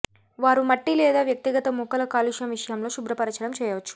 వారు మట్టి లేదా వ్యక్తిగత మొక్కల కాలుష్యం విషయంలో శుభ్రపరచడం చేయవచ్చు